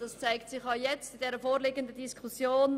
Das zeigt sich auch in der vorliegenden Diskussion: